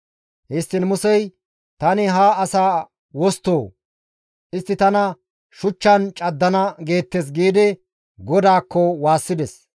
Histtiin Musey, «Tani ha asaa wosttoo? Istti tana shuchchan caddana geettes» giidi GODAAKKO waassides.